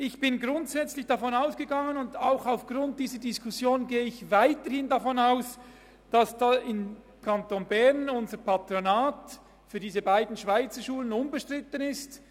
Ich bin grundsätzlich davon ausgegangen und gehe aufgrund dieser Diskussion weiter davon aus, dass im Kanton Bern unser Patronat für diese beiden Schweizerschulen unbestritten ist.